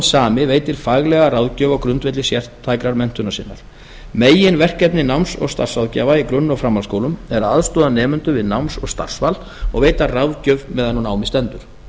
sami veitir faglega ráðgjöf á grundvelli sértækrar menntunar sinnar meginverkefni náms og starfsráðgjafa í grunn og framhaldsskólum er að aðstoða nemendur við náms og starfsval og veita ráðgjöf meðan á námi stendur